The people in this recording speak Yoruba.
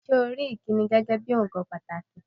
Ṣé́ o rí ìkíni gẹ́gé ohun pàtàkì?